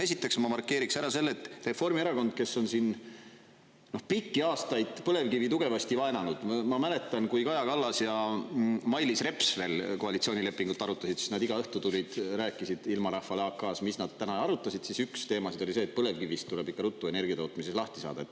Esiteks ma markeeriks ära selle, et Reformierakond, kes on siin pikki aastaid põlevkivi tugevasti vaenanud, ma mäletan, kui Kaja Kallas ja Mailis Reps veel koalitsioonilepingut arutasid, siis nad iga õhtu tulid, rääkisid ilmarahvale AK-s, mis nad täna arutasid, siis üks teemasid oli see, et põlevkivist tuleb ikka ruttu energiatootmises lahti saada.